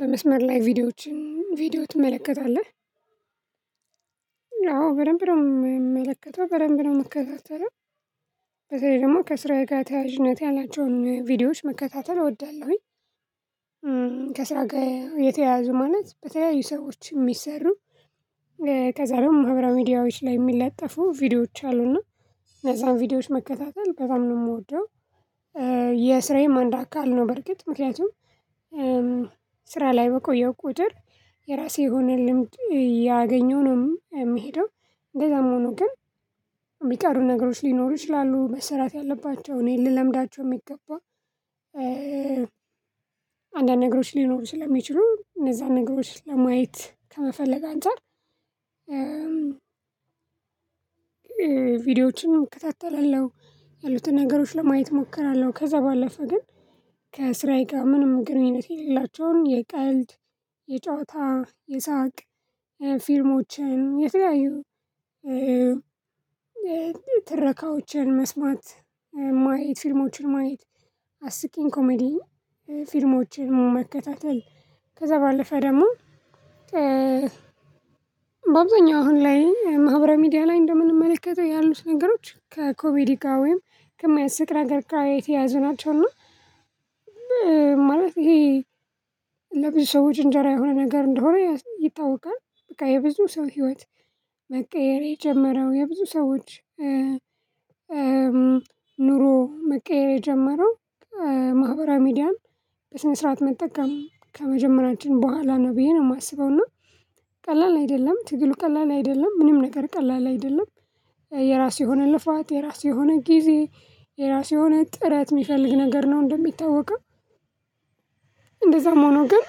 በመስመር ላይ ቪዲዮዎችን ቪዲዮ ትመለከታለህ? አዎ በደንብ ነው የምመለከተው በደንብ ነው የምትከታተለው። በተለይ ደግሞ ከስራ ጋር ተያያዥነት ያላቸውን ቪዲዮዎች መከታተል እወዳለሁኝ። ከስራ ጋር የተያዘ ማለት በተለያዩ ሰዎች የሚሰሩ ከዛ ደግሞ ህብረ ሚዲያዎች ላይ የሚለጠፉ ቪዲዮዎች አሉና እነዛን ቪዲዮዎች መከታተል በጣም ነው የምወደው። የስራዬን አንድ አካል ነው በርግጥ ምክንያቱም ስራ ላይ በቆየው ቁጥር የራሴ የሆነ ልምድ እያገኘሁ ነው የምሄደው እንደዛም ሆኖ ግን የሚቀሩ ነገሮች ሊኖሩ ይችላሉ መሰራት ያለባቸው እኔ ልለምዳቸው የሚገባ። አንዳንድ ነገሮች ሊኖሩ ስለሚችሉ እነዛን ነገሮች ለማየት ከመፈለግ አንፃር ቪዲዮዎችን እከታተላለሁ ያሉትን ነገሮች ለማየት እሞክራለሁ። ከዛ ባለፈ ግን ከስራዬ ጋር ምንም ግንኙነት የሌላቸውን የቀልድ የጨዋታ የሳቅ ፊልሞችን የተለያዩ ትረካዎችን መስማት ማየት ፊልሞችን ማየት አስቂኝ ኮሜዲ ፊልሞችን መከታተል ከዛ ባለፈ ደግሞ በአብዛኛው አሁን ላይ ማህበረ ሚዲያ ላይ እንደምንመለከተው ያሉት ነገሮች ከኮሜዲ ጋር ወይም ከሚያስቅ ነገርጋ የተያዘው ናቸው። እና ማለት ይሄ ለብዙ ሰዎች እንጀራ የሆነ ነገር እንደሆነ ይታወቃል በቃ የብዙ ሰው ህይወት መቀየር የጀመረው የብዙ ሰዎች ኑሮ መቀየር የጀመረው ማህበራ ሚዲያን በስነ ስርዓት መጠቀም ከመጀመሪያችን በኋላ ነው ብዬ ነው የማስበው እና ቀላል አይደለም ትግሉ ቀላል አይደለም ምንም ነገር ቀላል አይደለም። የራስ የሆነ ልፋት የራስ የሆነ ጊዜ የራስ የሆነ ጥረት የሚፈልግ ነገር ነው እንደሚታወቀው። እንደዛም ሆኖ ግን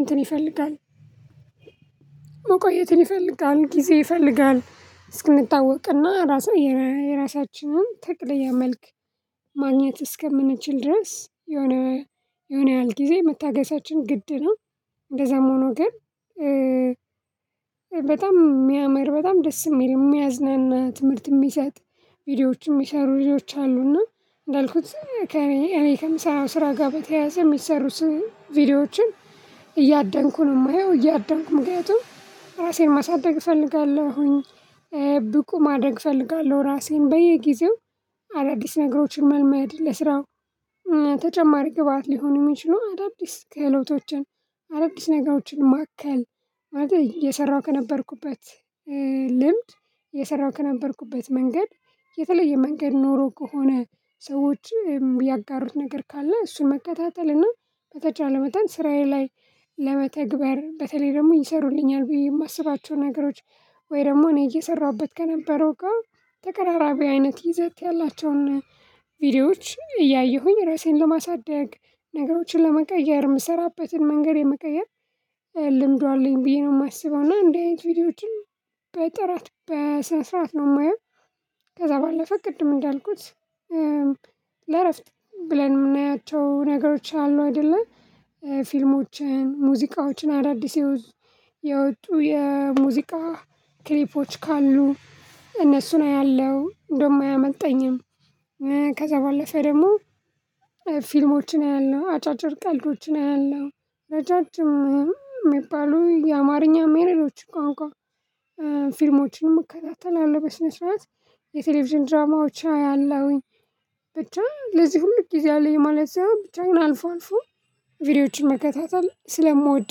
እንትን ይፈልጋል መቆየትን ይፈልጋል ጊዜ ይፈልጋል እስክንታወቅና ራሳችንን የራሳችንን ትክክለኛ መልክ ማግኘት እስከምንችል ድረስ የሆነ የሆነ ያህል ጊዜ መታገሳችን ግድ ነው። እንደዛም ሆኖ ግን በጣም የሚያምር በጣም ደስ የሚል የሚያዝናና ትምህርት የሚሰጥ ቪዲዮዎችም የሚሰሩ ቪዲዮዎች አሉ እና እንዳልኩት ከእኔ ከምሰራው ስራ ጋር በተያያዘ የሚሰሩ ቪዲዮዎችን እያደንኩ ነው የማየው እያደንኩ ምክንያቱም ራሴን ማሳደግ እፈልጋለሁኝ። ብቁ ማደግ እፈልጋለሁ ራሴን በየጊዜው አዳዲስ ነገሮችን መልመድ ለስራው ተጨማሪ ግብአት ሊሆን የሚችለው አዳዲስ ክህሎቶችን አዳዲስ ነገሮችን ማከል ማለት የሰራው ከነበርኩበት ልምድ የሰራው ከነበርኩበት መንገድ የተለየ መንገድ ኖሮ ከሆነ ሰዎች ያጋሩት ነገር ካለ እሱ መከታተል እና በተቻለ መጠን ስራዬ ላይ ለመተግበር በተለይ ደግሞ ይሰሩልኛል። ብየ የማስባቸው ነገሮች ወይ ደግሞ እኔ እየሰራሁበት ከነበረው ጋር ተቀራራቢ አይነት ይዘት ያላቸውን ቪዲዮዎች እያየሁኝ ራሴን ለማሳደግ ነገሮችን ለመቀየር የምሰራበትን መንገድ የመቀየር ልምዱ አለኝ ብዬ ነው የማስበው እና እንደዚህ አይነት ቪዲዮዎችን በጥራት በስነ ስርዓት ነው የማየው። ከዛ ባለፈ ቅድም እንዳልኩት ለእረፍት ብለን የምናያቸው ነገሮች አሉ አይደለ ፊልሞችን ሙዚቃዎችን አዳዲስ የወጡ የሙዚቃ ክሊፖች ካሉ እነሱን አያለሁ ደም አያመልጠኝም። ከዛ ባለፈ ደግሞ ፊልሞችን አያለሁ አጫጭር ቀልዶችን አያለው ረጃጅም የሚባሉ የአማርኛ ሜሬዶች ቃንቋ ፊልምችን እከታተላለሁ በስነ ስዋት የቴሌቪዥን ድራማዎች አያለሁኝ በቻ ለዚህ ሁሉ ጊዜ አለኝ ማለት ነው። ብቻ ግን አልፎ አልፎ ቪዲዮዎችን መከታተል ስለምወድ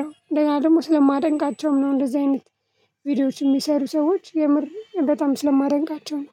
ነው እንደገና ደግሞ ስለማደንቃቸውም ነው እንደዚህ አይነት ቪዲዮዎች የሚሰሩ ሰዎች የምር በጣም ስለማደንቃቸው ነው።